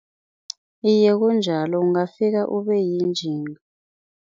Iye, kunjalo, ungafika ubeyinjinga.